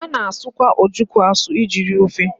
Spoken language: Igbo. A na-asụkwa ojoko asụ iji rie ofe.